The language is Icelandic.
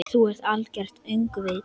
Þú ert algert öngvit!